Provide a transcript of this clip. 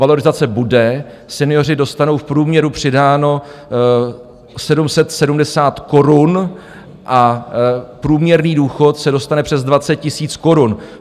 Valorizace bude, senioři dostanou v průměru přidáno 770 korun a průměrný důchod se dostane přes 20 000 korun.